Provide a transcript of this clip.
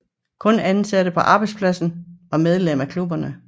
Kun ansatte på arbejdspladsen var medlem af klubberne